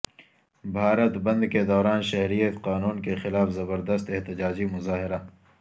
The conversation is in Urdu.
بھارت بند کے دوران شہریت قانون کے خلاف زبردست احتجاجی مظاہرہ